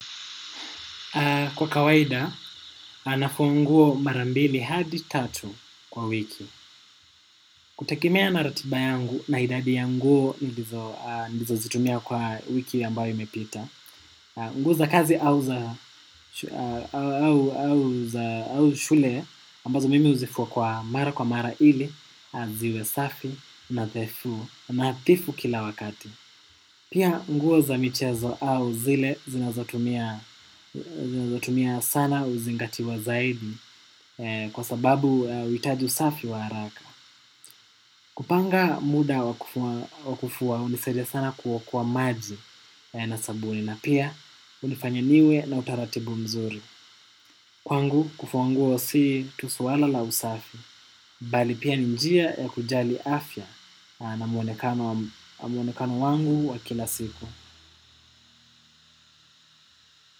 Kwa kawaida, nafua nguo mara mbili hadi tatu kwa wiki. Kutegemea na ratiba yangu, na idadi ya nguo, nilizozitumia kwa wiki ambayo imepita. Nguo za kazi au shule, ambazo mimi huzifua kwa mara kwa mara ili, ziwe safi, natefu, nadhifu kila wakati. Pia nguo za michezo au zile zinazotumia sana huzingatiwa zaidi kwa sababu huitaji usafi wa haraka. Kupanga muda wa kufua hunisaidia sana kuokoa maji na sabuni na pia hunifanya niwe na utaratibu mzuri. Kwangu kufua nguo si tu swala la usafi, bali pia ni njia ya kujali afya na mwonekano wangu wa kila siku.